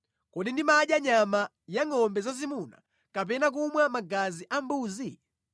Kodi ndimadya nyama ya ngʼombe zazimuna kapena kumwa magazi a mbuzi?